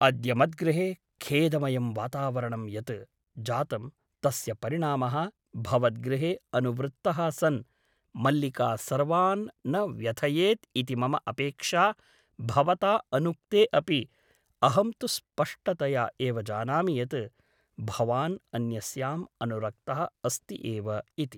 अद्य मद्गृहे खेदमयं वातावरणं यत् जातं तस्य परिणामः भवद्गृहे अनुवृत्तः सन् मल्लिका सर्वान् न व्यथयेत् इति मम अपेक्षा भवता अनुक्ते अपि अहं तु स्पष्टतया एव जानामि यत् भवान् अन्यस्याम् अनुरक्तः अस्ति एव इति ।